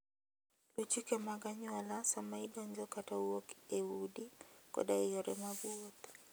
Luw chike mag anyuola sama idonjo kata wuok e udi koda e yore mag wuoth.